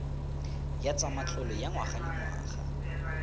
ya tsa matlole ya ngwagalengwaga